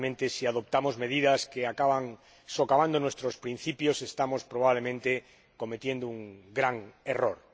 Si adoptamos medidas que acaban socavando nuestros principios, estamos, probablemente, cometiendo un gran error.